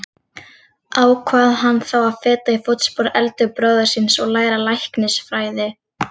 Ákvað hann þá að feta í fótspor eldri bróður síns og læra læknisfræði.